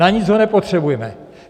Na nic ho nepotřebujme.